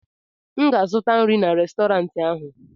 m ga-azụta nri n'Restọrantị ahụ